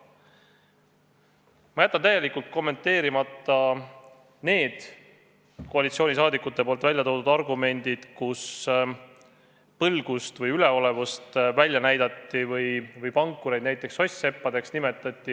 Ma jätan täielikult kommenteerimata need koalitsiooniliikmete toodud argumendid, millega näidati välja põlgust või üleolevust ja nimetati pankureid näiteks soss-seppadeks.